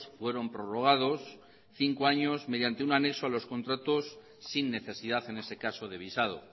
fueron prorrogados cinco años mediante un anexo a los contratos sin necesidad en ese caso de visado